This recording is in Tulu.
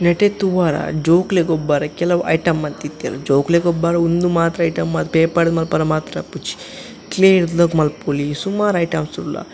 ನೆಟೆ ತೂವರ ಜೋಕ್ಲೆಗ್ ಗೊಬ್ಬರ ಕೆಲವು ಐಟಮ್ ಮಂತಿತ್ತೆರ್ ಜೋಕ್ಲೆಗ್ ಗೊಬ್ಬರ ಉಂದು ಮಾತ್ರ ಐಟಮ್ ಪೇಪರ್ ಮಲ್ಪುನ ಮಾತ್ರ ಇಪ್ಪುಜಿ ಕ್ಲೇ ಡ್ಲ ಮಲ್ಪೊಲಿ ಸುಮಾರ್ ಐಟಮ್ಸ್ ಲ ಉಲ್ಲ.